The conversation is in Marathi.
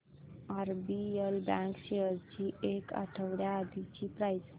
आरबीएल बँक शेअर्स ची एक आठवड्या आधीची प्राइस